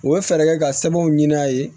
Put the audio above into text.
U bɛ fɛɛrɛ kɛ ka sɛbɛnw ɲini a ye